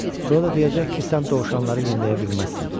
Sonra da deyəcək ki, sən dovşanları yemləyə bilməzsən.